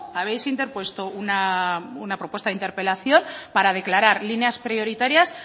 habéis interpuesto una propuesta de interpelación para declarar líneas prioritarias